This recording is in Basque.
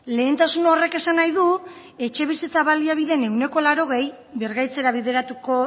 lehentasun horrek esan nahi du etxebizitza baliabideen ehuneko laurogei birgaitzera bideratuko